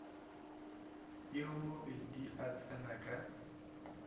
yo mobe a tsena ka